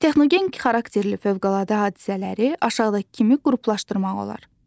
Texnogen xarakterli fövqəladə hadisələri aşağıdakı kimi qruplaşdırmaq olar.